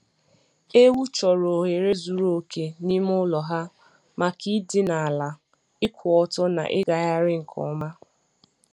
Ewu chọrọ ohere zuru oke n'ime ụlọ ha makai dine ala, ịkwụ ọtọ, na ịgagharị nke ọma.